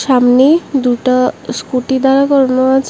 সামনে দুইটা স্কুটি দাঁড় করানো আছে।